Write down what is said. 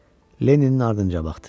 Lenninin ardınca baxdı.